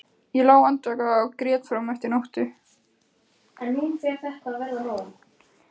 Ég lá andvaka og grét fram eftir nóttu.